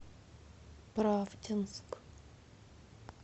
правдинск